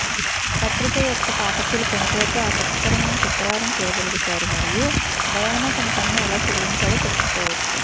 పత్రిక యొక్క పాఠకులు ప్రముఖులతో ఆసక్తికరమైన చిత్రాలను చూడగలుగుతారు మరియు డయానా తన పనిని ఎలా చెల్లించారో తెలుసుకోవచ్చు